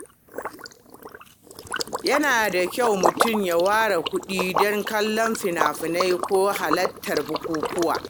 Yana da kyau mutum ya ware kuɗi don kallon fina-finai ko halartar bukukuwa.